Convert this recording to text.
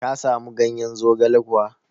Ka samu ganyen zogale kuwa?